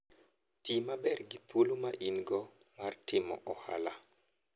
Ti maber gi thuolo ma in-go mar timo ohala.